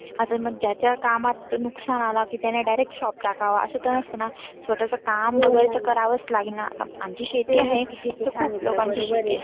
आता ज्याच्या कामात तर नुक्सान आला की त्याने direct shop टाकावा असं तर नसत ना. स्वतःच काम बघा करायलाच लागेलना. आमची शेती आहे ते खुप ती खुप लोकांची शेती आहे.